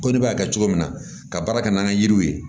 Ko ne b'a kɛ cogo min na ka baara kɛ n'an ka yiriw ye